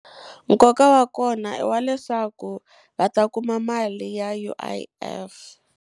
Nkoka wa kona i wa leswaku va ta kuma mali ya U_I_F.